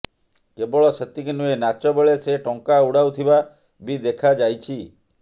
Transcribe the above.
କେବଳ ସେତିକି ନୁହେଁ ନାଚ ବେଳେ ସେ ଟଙ୍କା ଉଡାଉଥିବା ବି ଦେଖାଯାଇଛି